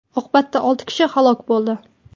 Oqibatda olti kishi halok bo‘ldi.